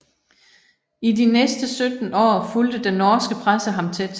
I de næste 17 år fulgte den norske presse ham tæt